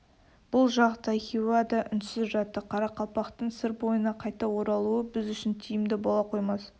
бұл жақта хиуа да үнсіз жатты қарақалпақтың сыр бойына қайта оралуы біз үшін тиімді бола қоймас